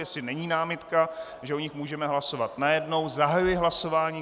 Jestli není námitka, že o nich můžeme hlasovat najednou, zahajuji hlasování.